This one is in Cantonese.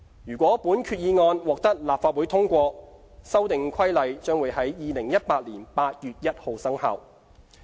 如果本決議案獲立法會通過，《修訂規例》會在2018年8月1日生效。